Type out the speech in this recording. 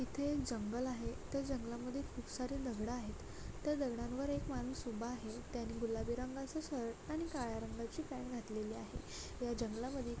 इथे एक जंगल आहे त्या जंगलामध्ये खूप सारे दगड आहेत त्या दगडांवर एक माणूस उभा आहे त्याने गुलाबी रंगाचे शर्ट आणि काळ्या रंगाची पॅन्ट घातलेली आहे या जंगलामध्ये --